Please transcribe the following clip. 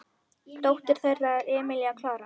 Dóttir þeirra er Emilía Klara.